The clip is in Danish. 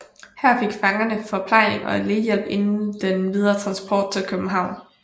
Her fik fangerne forplejning og lægehjælp inden den videre transport til København